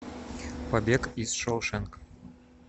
побег из шоушенка